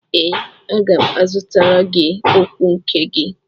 Ee, aga m azụtara gị ọgwụ nke gị